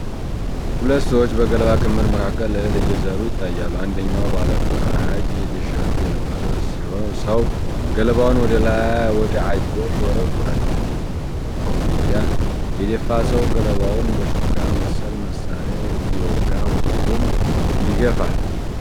ሁለት ሰዎች በገለባ ክምር መካከል እህል እየዘሩ ይታያሉ። አንደኛው ባለፈራጅ ቲሸርት የለበሰ ሰው ገለባውን ወደ አየር ይወረውራል። ሌላኛው ኮፍያ የደፋ ሰው ገለባውን በሹካ መሰል መሳሪያ እየወጋ ወደ ጎን ይገፋል።